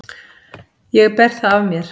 Ég ber það af mér.